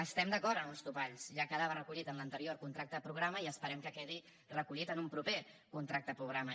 estem d’acord amb uns topalls ja quedava recollit en l’anterior contracte programa i esperem que quedi recollit en un proper contracte programa